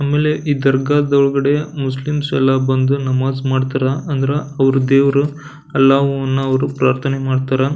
ಆಮೇಲೆ ಈ ದರ್ಗಾದೊಳ್ಗಡೆ ಮುಸ್ಲಿಮ್ಸ್ ಎಲ್ಲ ಬಂದು ನಮಾಝ್ ಮಾಡ್ತಾರೆ ಅಂದ್ರ ಅವ್ರು ದೇವ್ರು ಅಲ್ಲಾಹು ಅನ್ನವ್ರು ಪ್ರಾರ್ಥನೆ ಮಾಡ್ತಾರೆ.